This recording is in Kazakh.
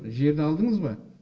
жерді алдыңыз ба